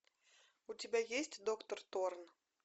у тебя есть доктор торн